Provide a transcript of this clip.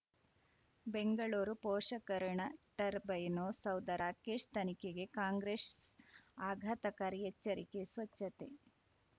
ಬೆಂಗಳೂರು ಪೋಷಕರಋಣ ಟರ್ಬೈನು ಸೌಧ ರಾಕೇಶ್ ತನಿಖೆಗೆ ಕಾಂಗ್ರೆಸ್ ಆಘಾತಕಾರಿ ಎಚ್ಚರಿಕೆ ಸ್ವಚ್ಛತೆ